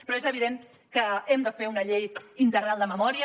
però és evident que hem de fer una llei integral de memòria